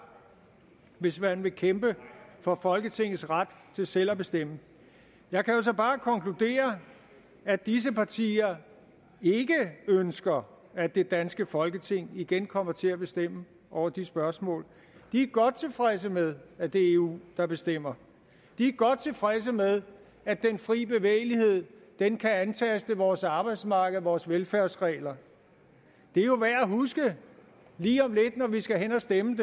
hvis man vil kæmpe for folketingets ret til selv at bestemme jeg kan jo så bare konkludere at disse partier ikke ønsker at det danske folketing igen kommer til at bestemme over de spørgsmål de er godt tilfredse med at det er eu der bestemmer de er godt tilfredse med at den frie bevægelighed kan antaste vores arbejdsmarked og vores velfærdsregler det er jo værd at huske lige om lidt når vi skal hen at stemme